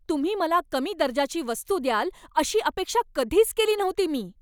तुम्ही मला कमी दर्जाची वस्तू द्याल अशी अपेक्षा कधीच केली नव्हती मी.